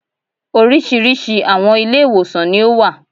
Oríṣiríṣi àwọn Ilé-ìwòsàn ní ó wà